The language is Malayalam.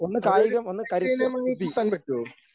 അതൊരു കായിക ഇനമായി കൂട്ടാൻ പറ്റ്വോ?